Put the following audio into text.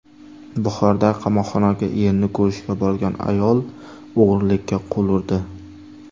Buxorodagi qamoqxonaga erini ko‘rishga borgan ayol o‘g‘rilikka qo‘l urdi.